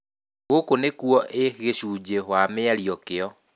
Gũkũ nĩkuo ĩĩ gĩcunjĩ wa mĩario kĩo.